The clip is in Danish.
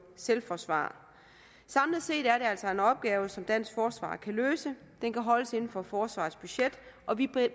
selvforsvar samlet set er det altså en opgave som dansk forsvar kan løse den kan holdes inden for forsvarets budget og vi